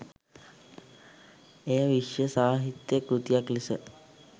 එය විශ්ව සාහිත්‍ය කෘතියක් ලෙස